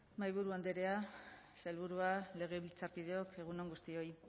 mahaiburu andrea sailburua legebiltzarkideok egun on guztioi